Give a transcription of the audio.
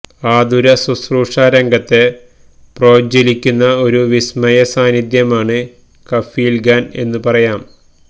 ആതുര ശുശ്രൂഷാ രംഗത്തെ പ്രോജ്വലിക്കുന്ന ഒരു വിസ്മയ സാന്നിധ്യമാണ് കഫീല് ഖാന് എന്നു പറയാം